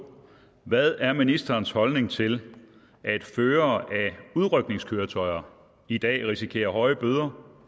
2 hvad er ministerens holdning til at førere af udrykningskøretøjer i dag risikerer høje bøder